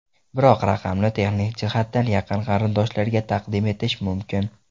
Biroq raqamni texnik jihatdan yaqin qarindoshlarga taqdim etish mumkin.